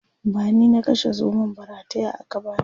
bani na kashe zomon ba rataya aka bani